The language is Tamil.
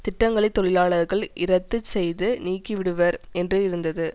திட்டங்களை தொழிலாளர்கள் இரத்து செய்து நீக்கிவிடுவர் என்று இருந்தது